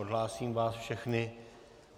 Odhlásím vás všechny.